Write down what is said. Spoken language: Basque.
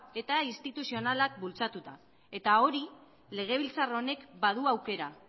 eta instituzionalak bultzatuta eta hori legebiltzar honek badu aukera